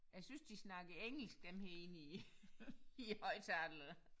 Jeg synes de snakker engelsk dem her inde i i højtalerne